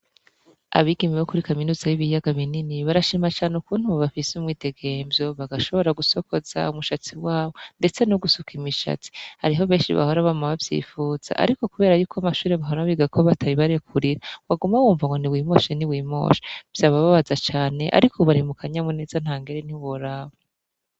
Abigeme bo kuri kaminuza y'ibiyaga binini barashima cane ukuntu bafise umwidegemvyo bagashobora gusokoza umushatsi wabo ndetse no gusukimishatsi, hariho benshi bahora bama bavyifuza ariko kuberayuko amashure bahora bigako batabibarekurira waguma wunva ngo niwimoshe niwimoshe vyababaza cane ariko ubu bari mu kanyamuneza ntangere ntiworaba.